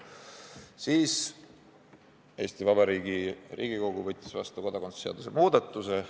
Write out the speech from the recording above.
Siis võttis Eesti Vabariigi Riigikogu vastu kodakondsuse seaduse muudatuse.